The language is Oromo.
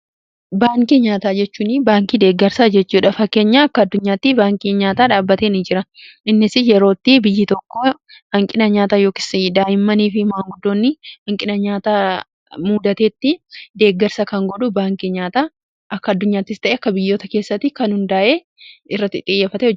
Baankii nyaataa jechuun baankii deeggarsaa jechuudhafa keenya akka addunyaatti baankii nyaataa dhaabateen jira innis yerootti biyyi tokko hanqina nyaataa yookiin daa'immanii fi maanguddoonni hanqina nyaataa muudateetti deeggarsa kan godhuu baankii nyaataa akka addunyaattis ta'e akka biyyoota keessatti kan hundaa'ee irratti xiyyafata.